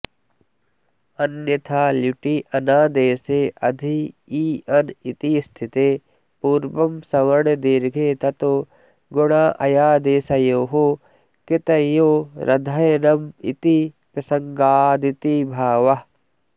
अन्यथा ल्युटि अनादेशे अधि इ अन इति स्थिते पूर्वं सवर्णदीर्घे ततो गुणाऽयादेशयोः कृतयोरधयनमिति प्रसङ्गादिति भावः